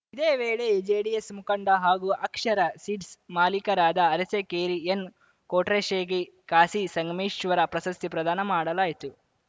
ಇದೇ ವೇಳೆ ಜೆಡಿಎಸ್‌ ಮುಖಂಡ ಹಾಗೂ ಅಕ್ಷರ ಸೀಡ್ಸ್‌ ಮಾಲೀಕರಾದ ಅರಸಿಕೇರಿ ಎನ್‌ಕೊಟ್ರೇಶ್‌ಗೆ ಕಾಶಿಸಂಗಮೇಶ್ವರ ಪ್ರಸಸ್ತಿ ಪ್ರದಾನ ಮಾಡಲಾಯಿತು